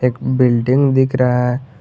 Building दिख रहा है।